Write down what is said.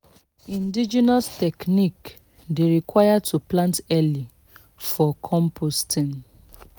indigenous technique dey require to plant early for composting